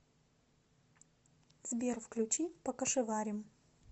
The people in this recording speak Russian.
сбер включи покашеварим